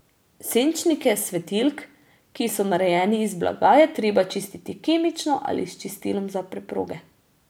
Senčnike svetilk, ki so narejeni iz blaga, je treba čistiti kemično ali s čistilom za preproge.